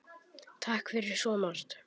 Takk fyrir svo margt.